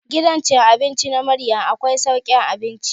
Gidan cin abinci na Maryam akwai saukin abinci.